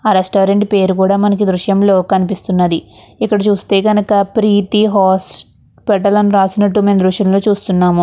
ఆ రెస్టారెంట్ పేరు కూడా మనకు ఈ దృశ్యంలో కనిపిస్తుంది. ఇక్కడ చూస్తే కనుక ప్రీతి హాస్పిటల్ అని రాసినట్టు మనం మేము దృశ్యంలో చూస్తున్నాము.